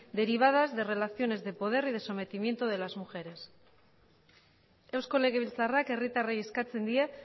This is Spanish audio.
derivadas de relaciones de poder y de sometimiento de las mujeres eusko legebiltzarrak herritarrei eskatzen die